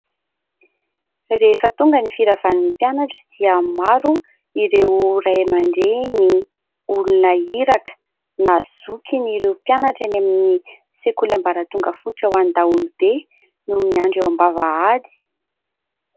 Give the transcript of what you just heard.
Rehefa tonga ny firavan'ny mpianatra dia maro ireo ray aman-dreny, ny olona iraka na zokiny ireo mpianatra any amin'ny sekoly ambaratonga fotra ho an'ny daholobe no miandry eo ambavahady.